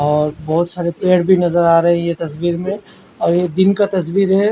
और बोहोत सारे पेड़ भी भी नज़र आ रहे है ये तस्वीर में और ये दिन का तस्वीर है।